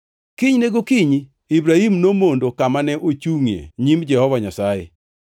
Kinyne gokinyi, Ibrahim nomondo kama ne ochungʼie nyim Jehova Nyasaye.